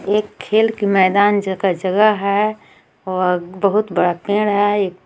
एक खेल की मैदान जगह जगह हे वह बहुत बड़ा पेड़ हे एक --